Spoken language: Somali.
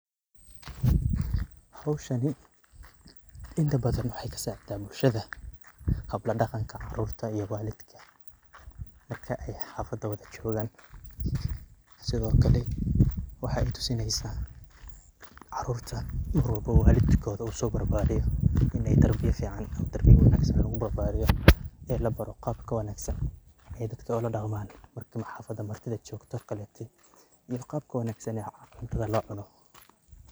Howshani inta badhan waxay kasacidaah bulshada hab ladaqanka carrurta iyo walidka marka ay xafada wada jogan, sidokale waxay tusineysaah carurta oo walidkoda usobarbariye in ay tarbiya fican iyo tarbiya wanagsan lagubarbariyo ee labaro qabka wanagsan ay dadka oladaqman. Xafada marki ad lajogto oo kaleto qabka wanagsan cuntadha locuno.